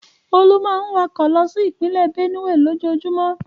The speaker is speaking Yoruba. Olú máa ń wakọ̀ lọ sí ìpínlẹ̀ Bénùè. lójoojúmọ́.